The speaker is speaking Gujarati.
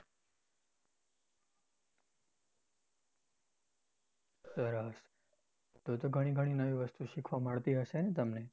સરસ તો તો ગણી ગણી નવી વસ્તુ શીખવા મળતી હશે ને તમને?